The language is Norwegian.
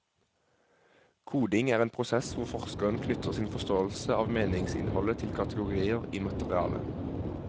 Koding er en prosess hvor forskeren knytter sin forståelse av meningsinnholdet til kategorier i materialet.